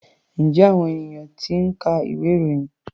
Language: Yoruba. Ǹjẹ́ àwọn ènìyàn ṣì ń ka ìwé-ìròyìn?